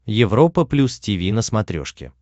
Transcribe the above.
европа плюс тиви на смотрешке